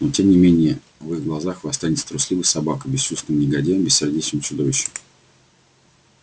но тем не менее в их глазах вы останетесь трусливой собакой бесчувственным негодяем бессердечным чудовищем